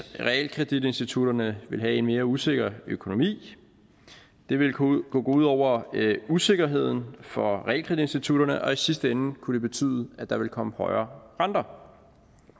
realkreditinstitutterne ville have en mere usikker økonomi det ville kunne gå ud over sikkerheden for realkreditinstitutterne og i sidste ende kunne det betyde at der ville komme højere renter